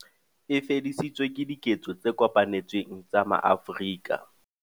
E fedisitswe ke diketso tse kopanetsweng tsa maAfrika.